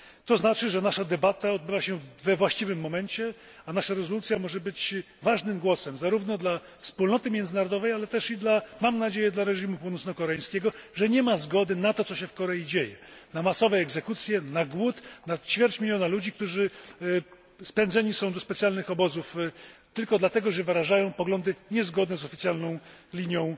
To znaczy, że nasza debata odbywa się we właściwym momencie, a nasza rezolucja może być ważnym głosem, zarówno dla wspólnoty międzynarodowej, jak i mam nadzieję dla reżimu północnokoreańskiego, że nie ma zgody na to, co się w Korei dzieje na masowe egzekucje, na głód ćwierć miliona ludzi, którzy spędzeni są do specjalnych obozów tylko dlatego, że wyrażają poglądy niezgodne z oficjalną linią